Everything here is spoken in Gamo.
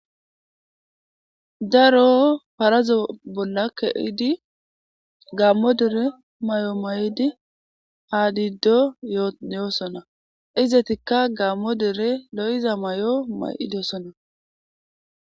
daro parazo bolla kaidi gammo dere may7o may7idi ha diddo yoyoosona izetikka gammo dere lo7iza may7o mayidoosona